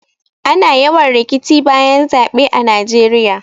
Ana yawan rikici bayan zaɓe a najeiya